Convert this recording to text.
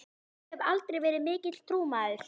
Ég hef aldrei verið mikill trúmaður.